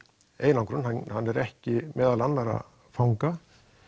einangrun hann er ekki meðal annara fanga